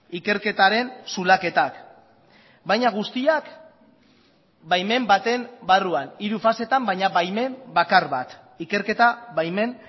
ikerketaren zulaketak baina guztiak baimen baten barruan hiru fasetan baina baimen bakar bat ikerketa baimen